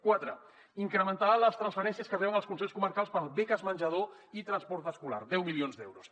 quatre incrementar les transferències que reben els consells comarcals per a beques menjador i transport escolar deu milions d’euros